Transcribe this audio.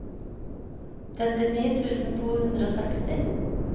trettini tusen to hundre og seksti